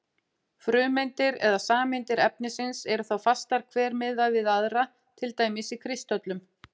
Frumeindir eða sameindir efnisins eru þá fastar hver miðað við aðra, til dæmis í kristöllum.